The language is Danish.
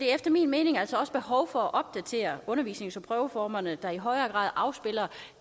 er efter min mening altså også behov for at opdatere undervisnings og prøveformerne så de i højere grad afspejler